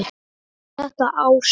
Þetta ástand?